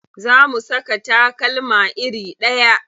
Za mu saka takalma iri ɗaya.